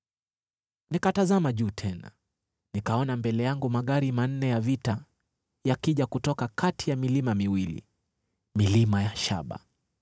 Nikatazama juu tena: nikaona mbele yangu magari manne ya vita yakija kutoka kati ya milima miwili, milima ya shaba!